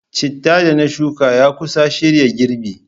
Chittah da na shuka ya kusa shirya girbi.